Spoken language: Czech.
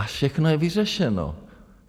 A všechno je vyřešeno.